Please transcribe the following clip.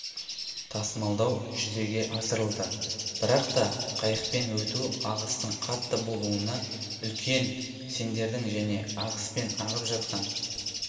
тасымалда жүзеге асырылды бірақта қайықпен өту ағыстың қатты болуына үлкен сеңдердің және ағыспен ағып жатқан